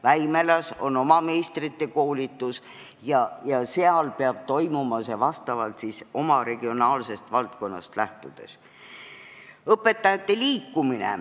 Väimelas on oma meistrikoolitus ja seal peab see toimuma oma regionaalsetest vajadustest lähtudes.